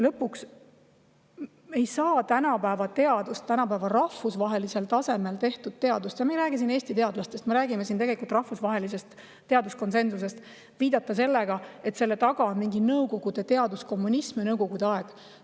Lõpuks, me ei saa tänapäeva teadusele, tänapäeva rahvusvahelisel tasemel tehtud teadusele – ja me ei räägi siin tegelikult Eesti teadlastest, vaid rahvusvahelisest teaduslikust konsensusest – viidata, et selle taga on mingi Nõukogude teaduskommunism ja Nõukogude aeg.